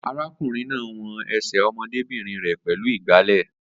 Arákùnrin náà won ẹsẹ̀ ọmọdébìnrin rẹ pẹ̀lú ìgbálẹ̀